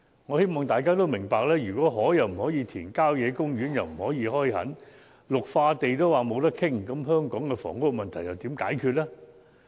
我希望大家明白，如果不能填海，也不能開墾郊野公園，更不可以開發綠化地，試問香港的房屋問題如何解決？